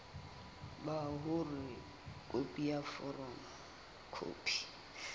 ba hore khopi ya foromo